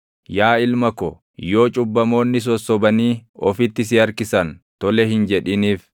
Yaa ilma ko, yoo cubbamoonni sossobanii ofitti si harkisan, tole hin jedhiniif.